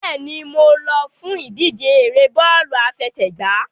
Bẹ́ẹ̀ni, mo lọ fún ìdíje ère bọ́ọ̀lù àfẹsẹ̀gbá.